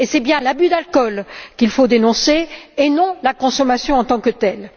C'est bien l'abus d'alcool qu'il faut dénoncer et non la consommation en tant que telle.